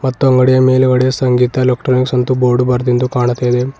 ಮತ್ತು ಅಂಗಡಿಯ ಮೇಲುಗಡೆ ಸಂಗೀತ ಎಲೆಕ್ಟ್ರಾನಿಕ್ ಬೋಡು ಬರ್ದಿಂದು ಕಾಣುತಿದೆ.